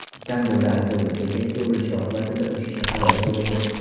Istanbulda avtobus bekatga urilishi oqibatida uch kishi halok bo‘ldi.